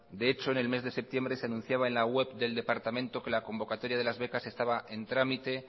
de hecho en el mes de septiembre se anunciaba en la web del departamento que la convocatoria de las becas estaba en trámite